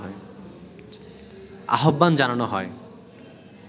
আহ্বান জানানো হয়